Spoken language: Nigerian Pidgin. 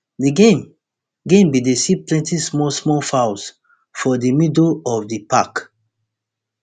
di game game bin dey see plenty small small fouls for di middle of di park